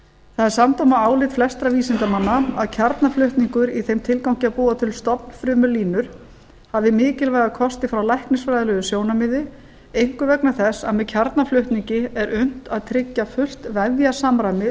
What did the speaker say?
það er samdóma álit flestra vísindamanna að kjarnaflutningur í þeim tilgangi að búa til stofnfrumulínur hafi mikilvæga kosti frá læknisfræðilegu sjónarmiði einkum vegna þess að með kjarnaflutningi er unnt að tryggja fullt vefjasamræmi